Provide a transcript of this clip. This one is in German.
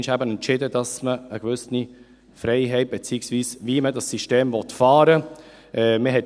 Man entschied eben irgendeinmal, dass man eine gewisse Freiheit …, beziehungsweise wie man dieses System fahren will.